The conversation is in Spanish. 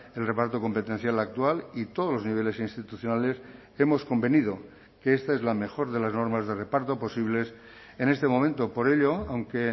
el reparto competencial actual y todos los niveles institucionales hemos convenido que esta es la mejor de las normas de reparto posibles en este momento por ello aunque